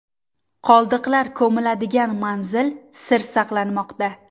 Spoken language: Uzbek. Qoldiqlar ko‘miladigan manzil sir saqlanmoqda.